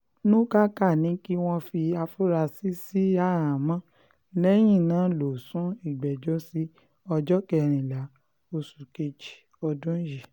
nukáká ní kí wọ́n fi àfúrásì sí àhámọ́ lẹ́yìn náà lọ sún ìgbẹ́jọ́ sí ọjọ́ kẹrìnlá oṣù kejì ọdún yìí